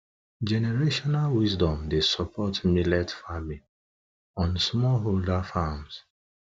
generational wisdom dey support millet farming on smallholder farms